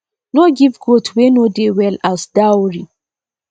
no give goat wey no dey well as dowry